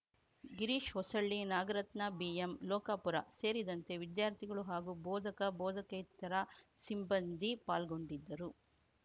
ಗಿರೀಶ ಹೊಸಳ್ಳಿನಾಗರತ್ನಾ ಬಿಎಂಲೋಕಾಪುರ ಸೇರಿದಂತೆ ವಿದ್ಯಾರ್ಥಿಗಳು ಹಾಗೂ ಬೋಧಕ ಬೋಧಕೇತರ ಸಿಬ್ಬಂದಿ ಪಾಲ್ಗೊಂಡಿದ್ದರು